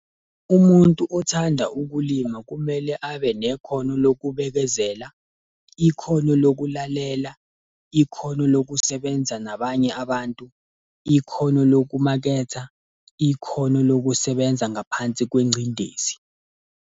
Umuntu othanda ukulima kumele abe nekhono lokubekezela, ikhono lokulalela, ikhono lokusebenza nabanye abantu, ikhono lokumaketha, ikhono lokusebenza ngaphansi kwengcindezi.